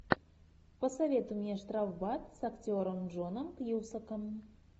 посоветуй мне штрафбат с актером джоном кьюсаком